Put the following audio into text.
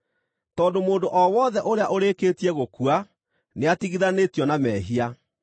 tondũ mũndũ o wothe ũrĩa ũrĩkĩtie gũkua nĩatigithanĩtio na mehia.